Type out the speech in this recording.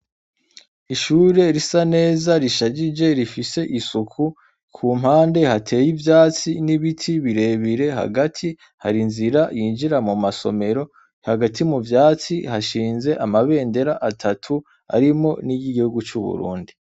Ishure risa neza rishajije rifise isuku ku mpande hateye ivyatsi n'ibiti birebire hagati hari inzira yinjira mu masomero hagati mu vyatsi hashinze amabendera atatu harimwo niryo igihugu cu Burundi.